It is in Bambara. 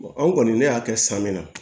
anw kɔni ne y'a kɛ san min na